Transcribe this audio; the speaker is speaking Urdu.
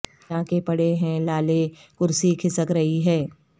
جاں کے پڑے ہیں لالے کرسی کھسک رہی ہے